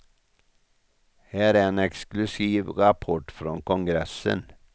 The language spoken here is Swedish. Här är en exklusiv rapport från kongressen.